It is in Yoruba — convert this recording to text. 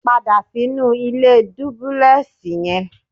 Padà sínú ilé dúbúlẹ́ẹ̀sì yẹn.